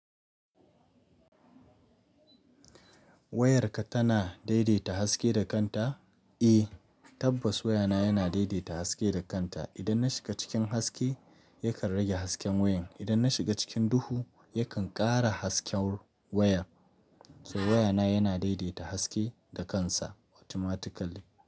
Wayarka tana daidaita haske da kanta? Eh, tabbas wayana yana daidaita haske da kanta. Idan na shiga cikin haske, yakan rage hasken wayan. Idan na shiga cikin duhu, yakan ƙara hasken wayar. To wayana yana daidaita haske da kansa automatically.